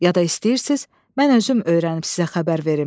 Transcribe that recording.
Ya da istəyirsiz, mən özüm öyrənib sizə xəbər verim.